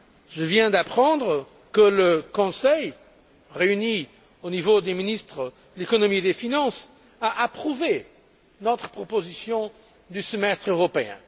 Je viens d'apprendre que le Conseil, réuni au niveau des ministres de l'économie et des finances, a approuvé notre proposition du semestre européen.